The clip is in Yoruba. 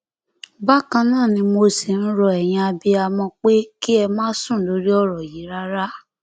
bákan náà ni mo ṣì ń rọ ẹyin abiyamọ pé kí ẹ má sùn lórí ọrọ yìí rárá